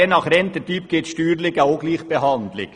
Je nach Rententyp gibt es steuerlich eine Ungleichbehandlung.